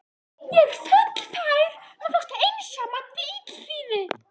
Ég er fullfær um að fást einsamall við illþýði!